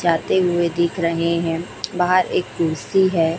जाते हुए दिख रहे हैं बाहर एक कुर्सी है।